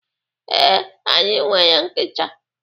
Ee, anyị nwere nkịta.